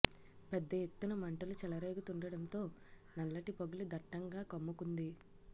పెద్ద ఎత్తున మంటలు చెలరేగుతుండడంతో నల్లటి పొగలు దట్టంగా కమ్ముకుంది